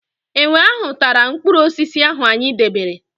Enwe ahụ tara mpkụrụosisi ahụ anyị debere.